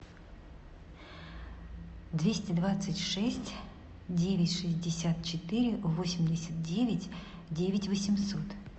двести двадцать шесть девять шестьдесят четыре восемьдесят девять девять восемьсот